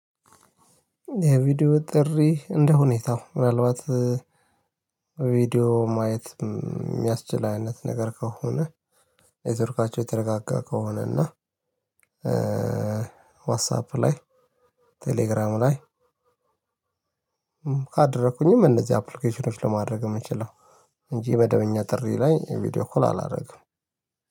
የቪዲዮ ጥሪ እንደ ሁኔታው ምናልባት ቪዲዮ ማየት የሚያስችል አይነት ነገር ከሆነ ኔትወርካቸው የተረጋጋ ከሆነ እና ዋትሳፕ ላይ ቴሌግራም ላይ ካደረኩኝም እነዚህ አፕሊኬሽኖች ለማድረግ የምችለው። እንጂ መደበኛ ጥሪ ላይ ቪዲዮ ኮል አላደርግም።